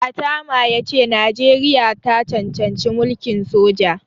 Atama ya ce Najeriya ta cancanci mulkin soja.